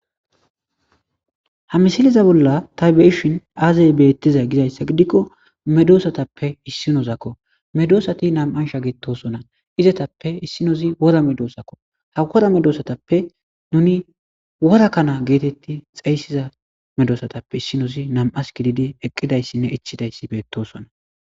Ha misiliza bolla taybeishin aazey beettiza gizayssa gidikko medoosatappe issinozakko medoosati nam7ansha gettosona izetappe issinozi wora medoosakko ha kora medoosatappe nuni wora kana geetetti xeyssiza medoosatappe issinosi nam'as gididi eqqidayssinne ichidayssi beettosona.